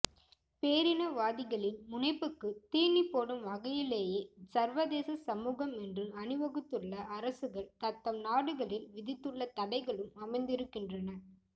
பேரினவாதிகளின் முனைப்புக்குத் தீனி போடும் வகையிலேயே சர்வதேச சமூகம் என்று அணிவகுத்துள்ள அரசுகள் தத்தம் நாடுகளில் விதித்துள்ள தடைகளும் அமைந்திருக்கின்றன